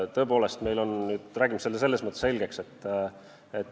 Tõepoolest, räägime selle selles mõttes selgeks.